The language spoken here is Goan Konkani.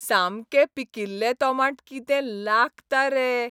सामकें पिकिल्लें तोमाट कितें लागता रे.